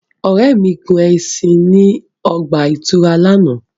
Ore mi gun ẹṣin ni o ọgba-ìturá làná.